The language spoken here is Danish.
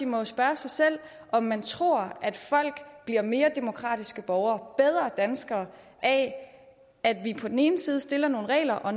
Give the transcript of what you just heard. må jo spørge sig selv om man tror at folk bliver mere demokratiske borgere bedre danskere af at vi på den ene side stiller nogle regler og